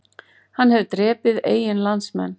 Hann hefur drepið eigin landsmenn